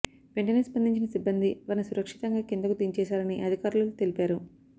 వెంటనే స్పందించిన సిబ్బంది వారిని సురక్షితంగా కిందకు దించేశారని అధికారులు తెలిపారు